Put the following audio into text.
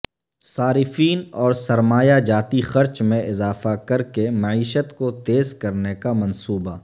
صارفین اور سرمایہ جاتی خرچ میں اضافہ کرکے معیشت کو تیز کرنے کا منصوبہ